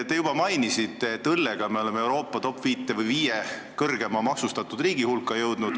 Te juba mainisite, et õllega me oleme jõudnud Euroopa top-5 või viie riigi hulka, kus õlu on kõige kõrgemalt maksustatud.